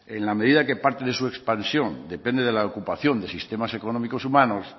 en la medida que parte de su expansión depende de la ocupación de sistemas económicos humanos